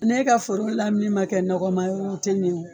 N'e ka foro lamini man kɛ nɔgɔma yɔrɔ ye o tɛ ɲɛ o.